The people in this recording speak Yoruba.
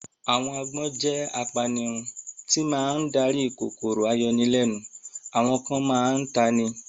Àwọn agbọ́n jẹ́ apanirun tí máa ń darí kòkòrò ayọnilẹ́nu, àwọn kan máa ń ta ni